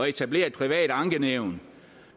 etablere et privat ankenævn